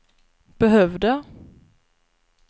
behövde